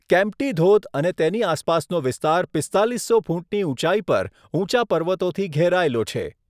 કેમ્પ્ટી ધોધ અને તેની આસપાસનો વિસ્તાર પીસ્તાલીસો ફૂટની ઉંચાઈ પર ઊંચા પર્વતોથી ઘેરાયેલો છે.